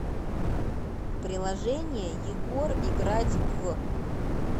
приложение егор играть в